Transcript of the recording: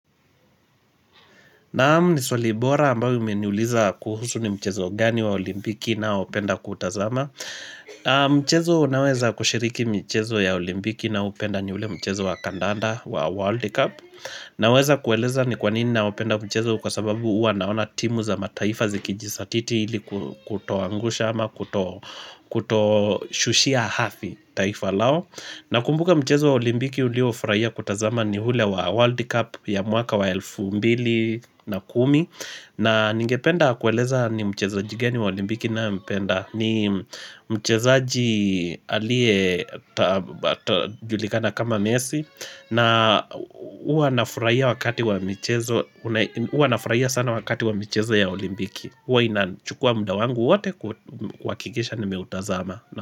Naam ni swali bora ambayo umeniuliza kuhusu ni mchezo gani wa olimpiki nao hupenda kutazama Mchezo naweza kushiriki michezo ya olimpiki nao upenda ni ule mchezo wa kandanda wa World Cup Naweza kueleza ni kwa nini naopenda mchezo kwa sababu huwa naona timu za mataifa zikijisatiti ili kutoangusha ama kutoshushia hafi taifa lao Nakumbuka mchezo wa olimpiki uliofurahia kutazama ni hule wa World Cup ya mwaka wa elfu mbili na kumi na ningependa kueleza ni mchezoji gani wa olimpiki nayempenda ni mchezaji alie julikana kama mesi na huwa nafurahia wakati wa mchezo ya olimpiki huwa inachukua muda wangu wote kuhakikisha nimeutazama.